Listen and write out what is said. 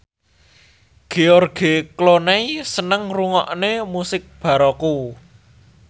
George Clooney seneng ngrungokne musik baroque